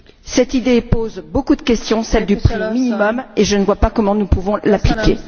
Cette idée pose beaucoup de questions, notamment celle du prix minimum, et je ne vois pas comment nous pouvons l'appliquer.